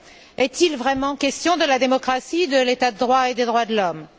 Est il vraiment question de la démocratie, de l'état de droit et des droits de l'homme?